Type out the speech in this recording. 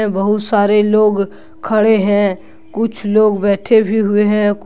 बहुत सारे लोग खड़े हैं कुछ लोग बैठे भी हुए हैं।